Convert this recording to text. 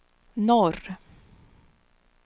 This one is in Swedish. norr